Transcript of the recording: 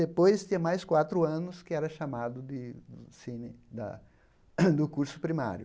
Depois tinha mais quatro anos, que era chamado de do curso primário.